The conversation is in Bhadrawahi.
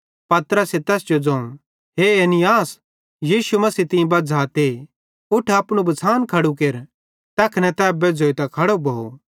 पतरसे तैस जो ज़ोवं हे ऐनियास यीशु मसीह तीं बझ़ाते उठ अपनू बछ़ान खड़ू केर तैखने तै बेज़्झ़ोइतां खड़ो भोव